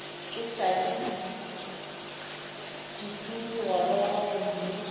e sa le pudigoroga gomme